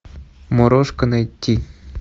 морозко найти